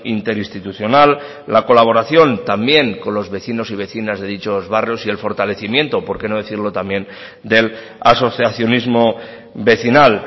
interinstitucional la colaboración también con los vecinos y vecinas de dichos barrios y el fortalecimiento por qué no decirlo también del asociacionismo vecinal